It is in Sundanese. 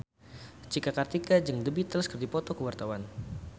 Cika Kartika jeung The Beatles keur dipoto ku wartawan